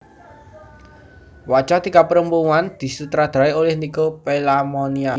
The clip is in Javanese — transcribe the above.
Wajah Tiga Perempuan disutradarai oleh Nico Pelamonia